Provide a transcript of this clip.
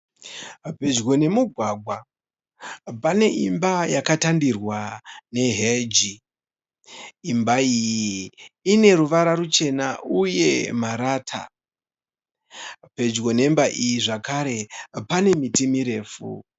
Pedyo nemugwagwa pane imba yakatandirwa ne heji . Imba iyi ine ruvara ruchena uye marata. Pedyo nemba iyi zvekare pane miti mirefu.